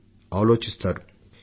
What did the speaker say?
పర్యావరణాన్ని పరిరక్షించాలంటూ